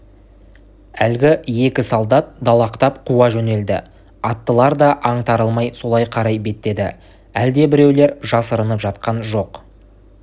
әлгі екі солдат далақтап қуа жөнелді аттылар да аңтарылмай солай қарай беттеді әлдебіреулер жасырынып жатқан жоқ